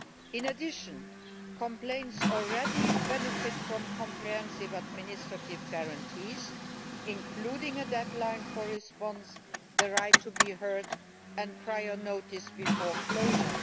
In addition, complaints already benefit from comprehensive administrative guarantees including a deadline for response, the right to be heard and prior notice before closure.